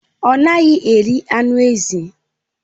Ọ naghị eri anụ ezi.